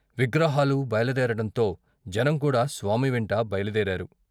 విగ్రహాలు బయలుదేరటంతో జనంకూడా స్వామివెంట బయలుదేరారు.